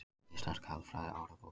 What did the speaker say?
Íslenska alfræði orðabókin.